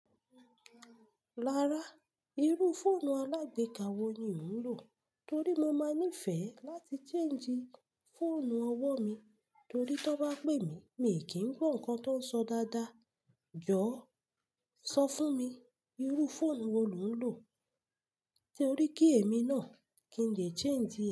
Rárá, irú fóònù alágbeka wo ni ò ń lò? Torí mo máa níìfẹ̀ láti change fóònù ọwọ́ mi torí tí wọ́n bá pè mí, mi kì í gbọ́ nǹkan tó ń sọ dáadáa. Jọ̀ọ́ sọ fún mi, irú fóònù wo lo ń lò torí kí èmi náà kí n lè change ẹ?